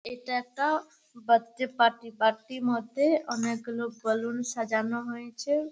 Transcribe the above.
এটা একটা birthday party party -র মধ্যে অনেক গুলো বালুন সাজানো হয়েছে ।